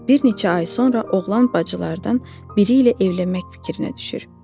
Bir neçə ay sonra oğlan bacılardan biri ilə evlənmək fikrinə düşür.